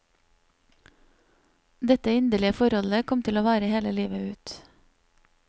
Dette inderlige forholdet kom til å vare hele livet ut.